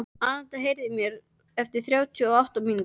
Anita, heyrðu í mér eftir þrjátíu og átta mínútur.